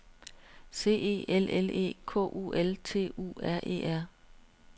C E L L E K U L T U R E R